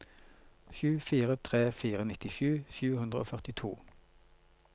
sju fire tre fire nittisju sju hundre og førtito